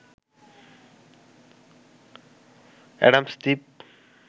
Adams Dwip